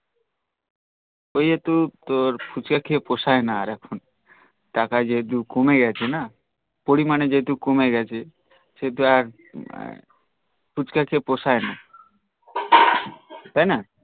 উঈ এক তোর ফুচকা খেয়ে পসাই না এখন টাকা যেহেতু কমে গিয়েছে না পরিমানে যেহেতু কমে গিয়েছে ফুচকা খেয়ে পসাই না তাই না